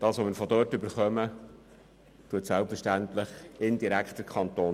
Was wir von der Stiftung erhalten, entlastet selbstverständlich indirekt den Kanton.